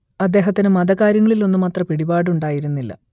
അദ്ദേഹത്തിന് മതകാര്യങ്ങളിൽ ഒന്നും അത്ര പിടിപാടുണ്ടായിരുന്നില്ല